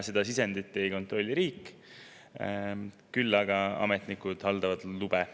Seda sisendit riik ei kontrolli, küll aga haldavad ametnikud lube.